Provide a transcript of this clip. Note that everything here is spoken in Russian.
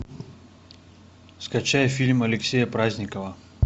скачай фильм алексея праздникова